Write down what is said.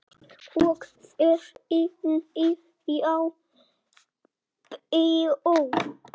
Og fer í Nýja bíó!